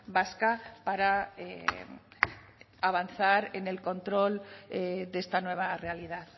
vasca para avanzar en el control de esta nueva realidad